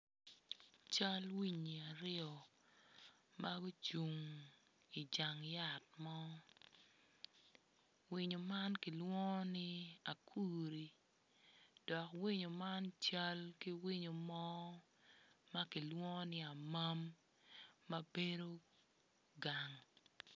Cal winyi aryo ma gucung i jang yat mo winyo man kilwongo ni akuri dok winyo man cal ki winyo mo ma kilwongo ni amam ma bedo gang.